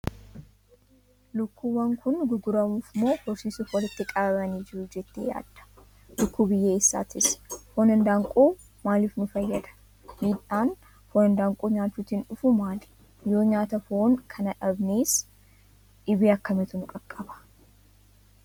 Lukkuunwwan kun gurguramuuf moo horsiisuuf walitti qabamanii jiru jettee yaadda? Lukkuu biyya eessaatis? Foon handaaqqoo maaliif nu fayyada? Miidhaan foon lukkuu nyaachuutiin dhufu maali? Yoo nyaata foon kanaa dhabnes dhibee akkamiitu nu qaqqaba?